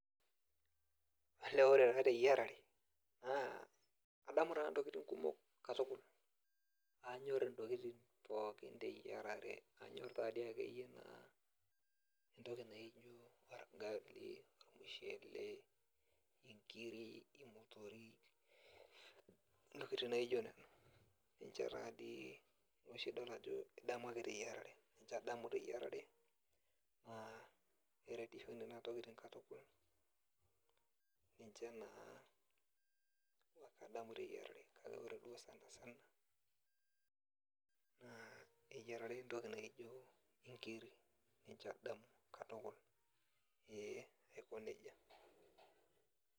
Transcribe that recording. Olee nanu teyiarare, naa adamu taa ntokiting kumok katukul. Anyor intokiting pookin teyiarare, anyor tadi akeyie naa entoki naji orgali, ormushele, inkiri, imotorik, intokiting naijo nena. Ninche tadi oshi idol ajo idamu ake teyiarare. Ninche adamu teyiarare, naa keretisho nena tokiting katukul. Ninche naa adamu teyiarare. Kake ore duo sanasana, naa eyiarare entoki naji nijo inkirik. Ninche adamu katukul. Ee aiko nejia.